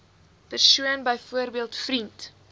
persoon byvoorbeeld vriend